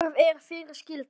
Skarð er fyrir skildi.